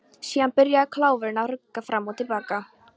Síðan byrjaði kláfurinn að rugga fram og til baka.